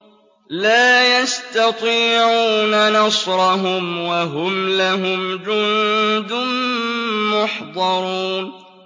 لَا يَسْتَطِيعُونَ نَصْرَهُمْ وَهُمْ لَهُمْ جُندٌ مُّحْضَرُونَ